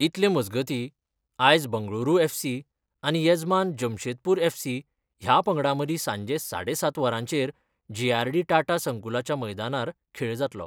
इतले मजगतीं आयज बंगळुरू एफसी आनी येजमान जमशेदपूर एफसी ह्या पंगडां मदीं सांजे साडेसात वरांचेर जेआरडी टाटा संकुलाच्या मैदानार खेळ जातलो.